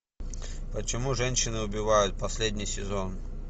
почему женщины убивают последний сезон